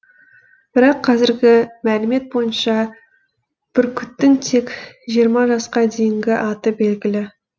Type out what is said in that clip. бірақ қазіргі мәлімет бойынша бүркіттің тек жиырма жасқа дейінгі аты белгілі